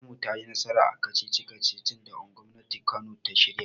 Makarantar mu tayi nasara a kacici-kacicin da gwamnatin kano ta shirya.